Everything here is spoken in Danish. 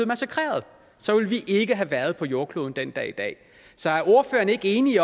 massakreret så ville de ikke har været på jordkloden den dag i dag så er ordføreren ikke enig i